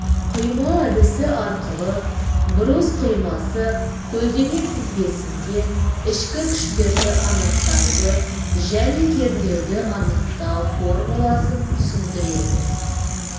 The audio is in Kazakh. қима әдісі арқылы брус қимасы көлденең тізбесінде ішкі күштерді анықтайды және кернеуді анықтау формуласын түсіндіреді